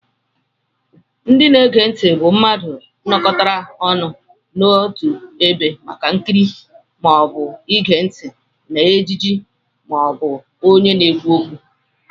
Ndị na-ege ntị bụ mmadụ nókọtára ọnụ n'ọtu ebe màkà ikiri maọbu ige ntị na ejije maọbu ọnye na-ekwu ókwú.